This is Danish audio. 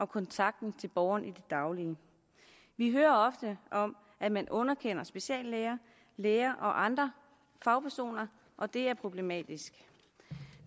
kontakten til borgeren i det daglige vi hører ofte om at man underkender speciallæger læger og andre fagpersoner og det er problematisk